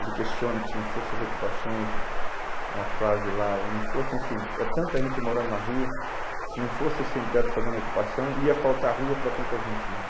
Ele questiona que se não fossem as ocupações, uma frase lá, e não fossem os sem, é tanta gente morando na rua, se não fosse o sem-teto fazendo a ocupação, ia faltar rua para tanta gente morar.